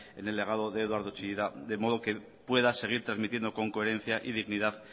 en el legado de eduardo chillida de modo que pueda seguir transmitiendo con coherencia y dignidad